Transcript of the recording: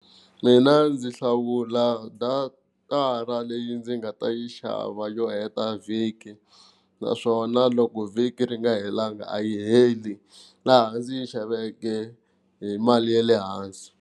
Mina ndzi hlawula datara leyi ndzi nga ta yi xava yo heta vhiki, naswona loko vhiki ri nga helanga a yi heli laha ndzi yi xaveke hi mali ya le hansi.